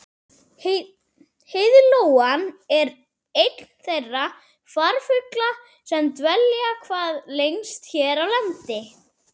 heiðlóan er einn þeirra farfugla sem dvelja hvað lengst hér á landi